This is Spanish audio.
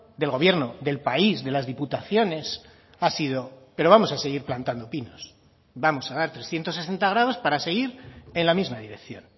del gobierno del país de las diputaciones ha sido pero vamos a seguir plantando pinos vamos a dar trescientos sesenta grados para seguir en la misma dirección